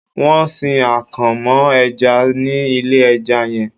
Wọn ń sin akàn mọ́ ẹja ní ilé ẹja yẹn.